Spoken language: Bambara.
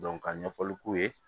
ka ɲɛfɔli k'u ye